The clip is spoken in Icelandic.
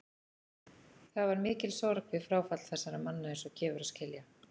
Það var mikil sorg við fráfall þessara manna eins og gefur að skilja.